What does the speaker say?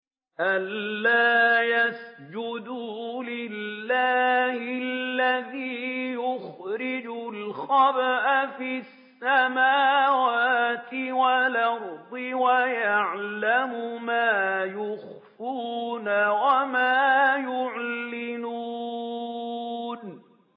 أَلَّا يَسْجُدُوا لِلَّهِ الَّذِي يُخْرِجُ الْخَبْءَ فِي السَّمَاوَاتِ وَالْأَرْضِ وَيَعْلَمُ مَا تُخْفُونَ وَمَا تُعْلِنُونَ